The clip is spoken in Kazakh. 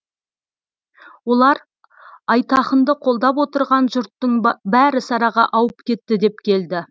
олар айтақынды қолдап отырған жұрттың бәрі сараға ауып кетті деп келді